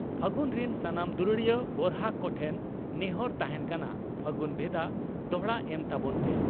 ᱯᱷᱟᱹᱜᱩᱱ ᱨᱤᱱ ᱥᱟᱱᱟᱢ ᱫᱩᱞᱟᱹᱲᱤᱭᱟᱹ ᱜᱚᱨᱦᱟᱠ ᱠᱚᱴᱷᱮᱱ ᱱᱮᱦᱚᱨ ᱛᱟᱦᱮᱸᱱ ᱠᱟᱱᱟ, ᱯᱷᱟᱹᱜᱩᱱ ᱵᱷᱮᱫᱟ ᱫᱚᱦᱲᱟ ᱮᱢ ᱛᱟᱵᱚᱱ ᱯᱮ ᱾